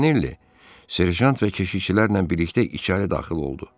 Montanelli serjant və keşikçilərlə birlikdə içəri daxil oldu.